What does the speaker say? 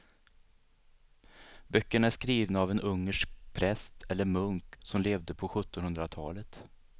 Böckerna är skrivna av en ungersk präst eller munk som levde på sjuttonhundratalet.